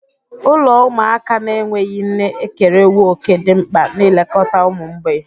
Ụlọ ụmụaka na-enweghị nne ekerewo òkè dị mkpa n'ilekọta ụmụ mgbei.